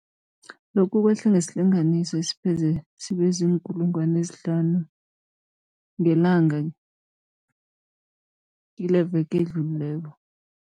Lokhu kwehle ngesilinganiso esipheze sibe ziinkulungwana ezihlanu ngelanga kileveke edlulileko.